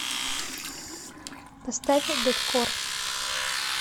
поставь дэткор